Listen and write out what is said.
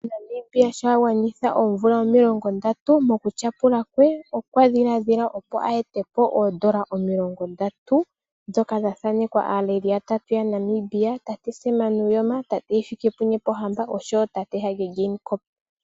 Namibia sho a gwanitha oomvula omilongondatu, mokutyapula kwe okwa dhiladhila opo a ete po oodola omilongondatu ndhoka dha thanekwa aaleli yatatu yaNamibia: tate Sam Nuujoma, tate Hifikepunye Pohamba oshowo tate Hage Geingob.